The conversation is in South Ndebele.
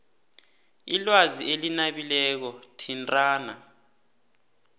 ilwazi elinabileko thintana